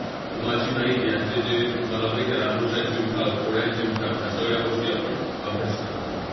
उमाजी नाईक यांचे जे तुम्हाला माहित आहे रामोश्यांचे उठाव, कोळ्यांचे उठाव ह्या सगळ्या गोष्टी आपण अभ्यासणार आहोत.